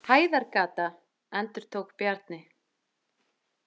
Hæðargata, endurtók Bjarni.